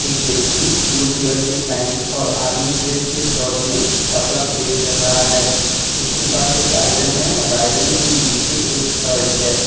एक व्यक्ति blue colour की पैंट और आर्मी ड्रेस की शर्ट में कपड़ा प्रेस कर रहा है उसके पास एक आयरन है और आयरन के नीचे एक शर्ट है।